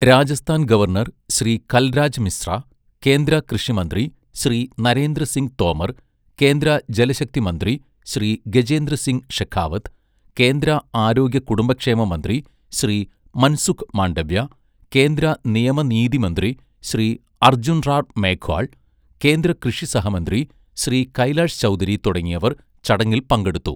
Rajasthan governor Shri Kalraj Mishra, കേന്ദ്ര കൃഷിമന്ത്രി ശ്രീ നരേന്ദ്ര സിങ് തോമർ, കേന്ദ്ര ജലശക്തി മന്ത്രി ശ്രീ ഗജേന്ദ്ര സിങ് ഷെഖാവത്ത്, കേന്ദ്ര ആരോഗ്യ കുടുംബക്ഷേമ മന്ത്രി ശ്രീ മൻസുഖ് മാണ്ഡവ്യ, കേന്ദ്ര നിയമ നീതി മന്ത്രി ശ്രീ അർജുൻ റാം മേഘ്വാൾ, കേന്ദ്ര കൃഷി സഹമന്ത്രി ശ്രീ കൈലാഷ് ചൗധരി തുടങ്ങിയവർ ചടങ്ങിൽ പങ്കെടുത്തു.